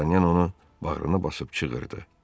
Dartanyan onu bağrına basıb çığırdı: